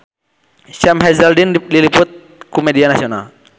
Sam Hazeldine diliput ku media nasional